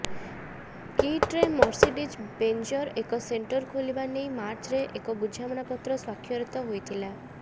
କିଟ୍ରେ Mercedes ବେଞ୍ଜର ଏକ centre ଖୋଲିବା ନେଇ ମାର୍ଚ୍ଚରେ ଏକ ବୁଝାମଣାପତ୍ର ସ୍ୱାକ୍ଷରିତ ହୋଇଥିଲା